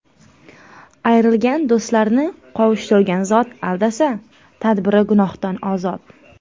Ayrilgan do‘stlarni qovushtirgan zot Aldasa, tadbiri gunohdan ozod.